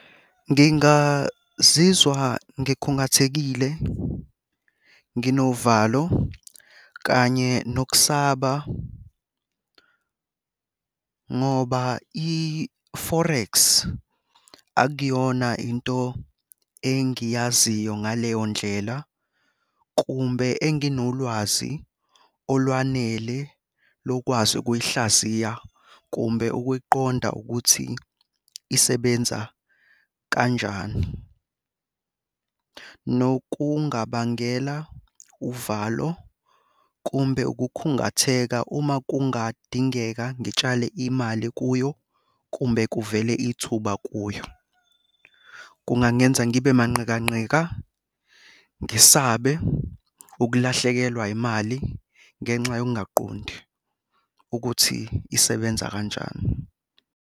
Ngingazizwa ngikhungathekile, nginovalo kanye nokusaba ngoba i-forex akuyona into engiyaziyo ngaleyo ndlela kumbe enginolwazi olwanele lokwazi ukuyihlaziya, kumbe ukuyiqonda ukuthi isebenza kanjani. Nokungabangela uvalo kumbe ukukhungatheka uma kungadingeka ngitshale imali kuyo kumbe kuvele ithuba kuyo. Kungangenza ngibe manqikanqika, ngisabe ukulahlekelwa yimali ngenxa yokungaqondi ukuthi isebenza kanjani.